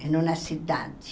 Em uma cidade.